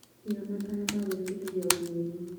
Iga matanya ma gwĩbundithia o mweri.